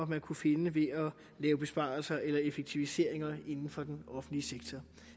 man kunne finde ved at lave besparelser eller effektiviseringer inden for den offentlige sektor